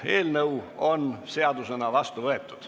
Eelnõu 30 on seadusena vastu võetud.